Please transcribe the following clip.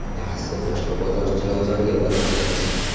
Yaxshisi boshqa bozor Chilonzorga bora qolamiz.